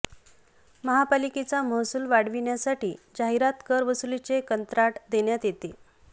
महापालिकेचा महसुल वाढविण्यासाठी जाहिरात कर वसुलीचे कंत्राट देण्यात येते